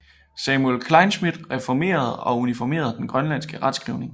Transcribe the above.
Samuel Kleinschmidt reformerede og uniformerede den grønlandske retskrivning